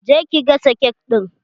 Je ki gasa kek ɗin!